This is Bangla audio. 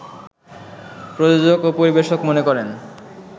প্রযোজক ও পরিবেশক মনে করেন